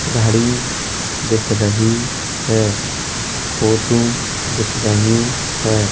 घड़ी दिख रही है। फोटू दिख रही है।